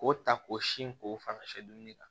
K'o ta k'o sin k'o fara sɛ dumuni kan